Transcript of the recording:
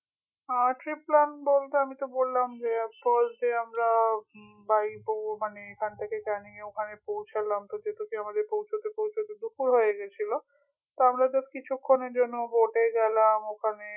আহ trip plan বলতে আমি তো বললাম যে first day এ আমরা by মানে এখান থেকে ক্যানিং এ ওখানে পৌঁছালাম আমাদের পৌঁছাতে পৌঁছাতে দুপুর হয়ে গেছিল তো আমরা just কিছুক্ষণের জন্য boat এ গেলাম ওখানে